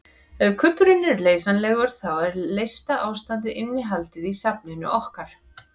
Ef kubburinn er leysanlegur þá er leysta ástandið innihaldið í safninu okkar.